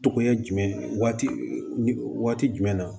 Togoya jumɛn waati jumɛn na